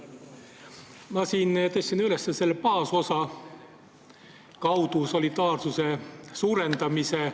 Ma siin tõstsin üles baasosa kaudu solidaarsuse suurendamise.